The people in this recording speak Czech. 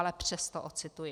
Ale přesto ocituji: